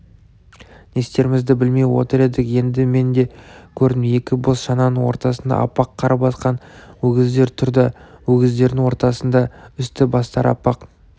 не істерімізді білмей отыр едік енді мен де көрдім екі бос шананың ортасында аппақ қар басқан өгіздер тұр да өгіздердің ортасында үсті-бастары аппақ